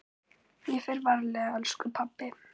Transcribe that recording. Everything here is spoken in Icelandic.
Ég fer varlega elsku pabbi.